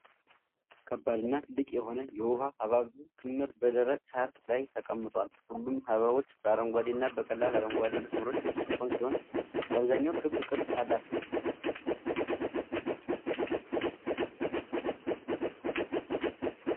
ከባድና ትልቅ የሆነ የውሃ-ሐብሐብ ክምር በደረቅ ሳር ላይ ተቀምጧል። ሁሉም ሐብሐቦች በአረንጓዴና በቀላል አረንጓዴ መስመሮች የተሸፈኑ ሲሆን፣ በአብዛኛው ክብ ቅርፅ አላቸው።